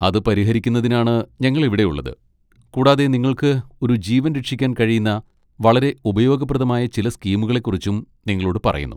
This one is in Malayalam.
അത് പരിഹരിക്കുന്നതിനാണ് ഞങ്ങൾ ഇവിടെയുള്ളത് കൂടാതെ നിങ്ങൾക്ക് ഒരു ജീവൻ രക്ഷിക്കാൻ കഴിയുന്ന വളരെ ഉപയോഗപ്രദമായ ചില സ്കീമുകളെക്കുറിച്ചും നിങ്ങളോട് പറയുന്നു.